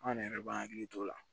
An ne yɛrɛ de b'an hakili t'o la